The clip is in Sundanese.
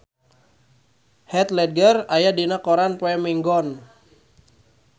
Heath Ledger aya dina koran poe Minggon